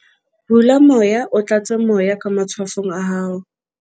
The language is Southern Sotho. hula moya o tlatse moya ka matshwafong a hao